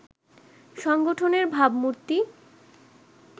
সংগঠনের ভাবমূর্তি